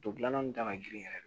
Don gilanna min ta ka girin yɛrɛ